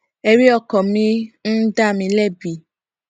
èrí ọkàn mi ń dá mi lébi